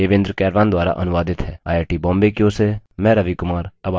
यह स्क्रिप्ट देवेन्द्र कैरवान द्वारा अनुवादित है आईआईटीबॉम्बे की ओर से मैं रवि कुमार अब आपसे विदा लेता हूँ